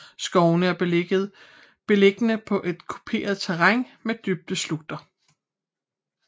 Skovene er beliggende på et kuperet terræn med dybe slugter